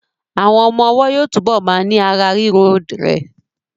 Àwọn ọmọ ọwọ́ yóò túbọ̀ ma ní ara rírọ̀ d rẹ